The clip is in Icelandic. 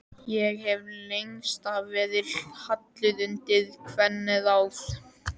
Ég hef lengst af verið hallur undir kvennaráð.